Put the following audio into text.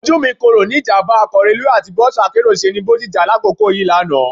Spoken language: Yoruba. Ojú mi kòró ni ìjàmbá ọkọ̀ reluwé àti bọ́ọ̀sì akérò ṣe ní Bodija lákòókò yìí lánàá